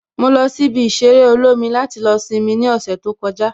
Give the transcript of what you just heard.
Mo lọ sí ibi ìṣeré olómi láti lọ simi ní ọ̀sẹ̀ tó kọjá